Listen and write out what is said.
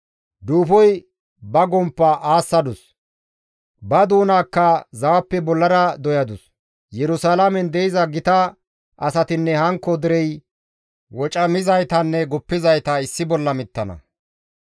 Duufoy ba gomppa aassadus; ba doonaakka zawappe bollara doyadus; Yerusalaamen de7iza gita asatinne hankko derey, wocamizaytanne guppizayta issi bolla mittana.